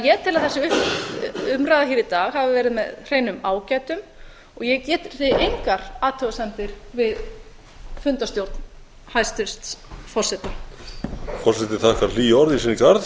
ég tel að þessi umræða í dag hafi verið með hreinum ágætum og ég geri því engar athugasemdir við fundarstjórn hæstvirts forseta forseti þakkar hlý orð í sinn garð